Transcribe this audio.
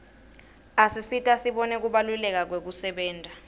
asisita sibone kubaluleka kwekusebenta